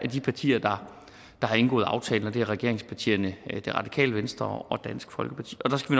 de partier der har indgået aftalen og det er regeringspartierne det radikale venstre og dansk folkeparti og der skal